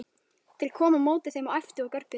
Þeir komu á móti þeim og æptu og görguðu.